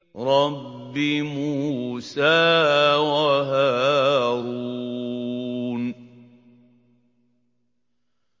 رَبِّ مُوسَىٰ وَهَارُونَ